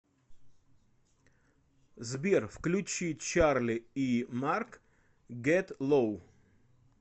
сбер включи чарли и марк гет лоу